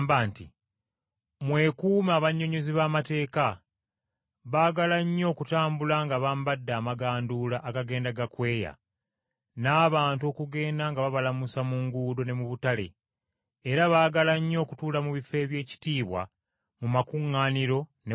“Mwekuume abannyonnyozi b’amateeka. Baagala nnyo okutambula nga bambadde amaganduula agagenda gakweya, n’abantu okugenda nga babalamusa mu butale, era baagala nnyo okutuula mu bifo eby’ekitiibwa mu makuŋŋaaniro ne ku mbaga!